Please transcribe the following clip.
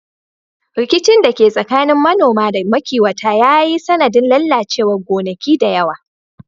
Rikicin da ke tsakanin manoma da makiwata ya yi sanadin lalacewar gonaki da yawa.